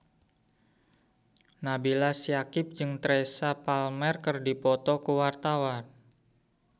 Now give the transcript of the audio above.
Nabila Syakieb jeung Teresa Palmer keur dipoto ku wartawan